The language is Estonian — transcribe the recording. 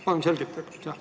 Palun selgitage!